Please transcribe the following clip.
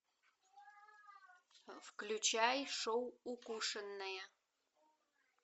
включай шоу укушенная